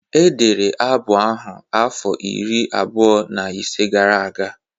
Edere abụ ahụ afọ iri abụọ na ise gara aga